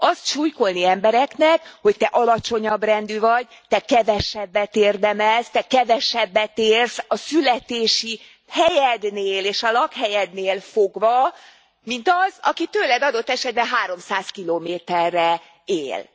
Azt sulykolni embereknek, hogy te alacsonyabb rendű vagy, te kevesebbet érdemelsz, te kevesebbet érsz a születési helyednél és a lakhelyednél fogva, mint az, aki tőled adott esetben 300 kilométerre él.